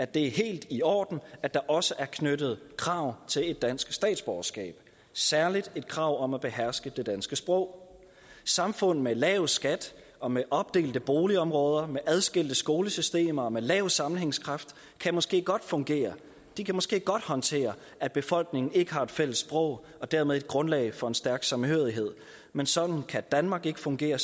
det er helt i orden at der også er knyttet krav til et dansk statsborgerskab særlig et krav om at beherske det danske sprog samfund med lav skat og med opdelte boligområder med adskilte skolesystemer og med lav sammenhængskraft kan måske godt fungere de kan måske godt håndtere at befolkningen ikke har et fælles sprog og dermed et grundlag for en stærk samhørighed men sådan kan danmark ikke fungere